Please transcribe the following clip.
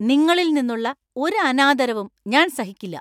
നിങ്ങളിൽ നിന്നുള്ള ഒരു അനാദരവും ഞാന്‍ സഹിക്കില്ല.